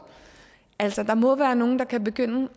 altså der må være nogen der kan begynde